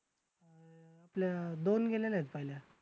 आपल्या दोन गेलेल्यात पहिल्या.